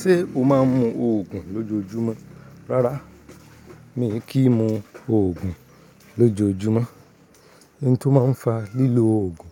Ṣé o máa ń mu òògùn lójoojúmọ́? Rárá, mi kì í mu òògùn lójoojúmọ́. Ihn tó máa ń fa lílo òògùn,